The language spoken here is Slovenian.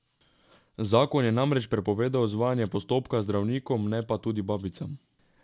Zakon je namreč prepovedoval izvajanje postopka zdravnikom, ne pa tudi babicam.